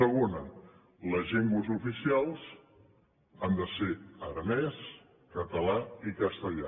segona les llengües oficials han de ser aranès català i castellà